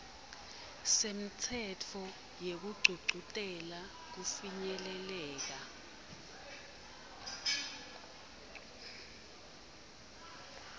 semtsetfo wekugcugcutela kufinyeleleka